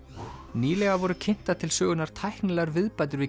nýlega voru kynntar til sögunnar tæknilegar viðbætur við